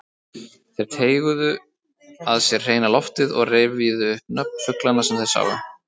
Þeir teyguðu að sér hreina loftið og rifjuðu upp nöfn fuglanna sem þeir sáu.